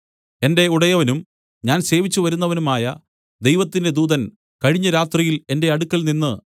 എന്റെ ഉടയവനും ഞാൻ സേവിച്ചുവരുന്നവനുമായ ദൈവത്തിന്റെ ദൂതൻ കഴിഞ്ഞ രാത്രിയിൽ എന്റെ അടുക്കൽനിന്ന്